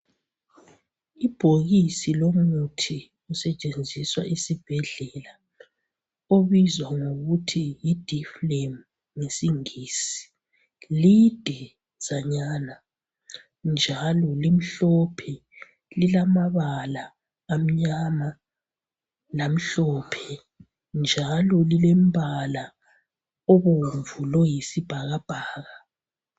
Ibhokisi lomuthi osetshenziswa esibhedlela obizwa ngokuthi yi difflam ngesingisi lidezanyana njalo limhlophe lilamabala amnyama lamhlophe njalo lilembala obomvu loyisibhakabhaka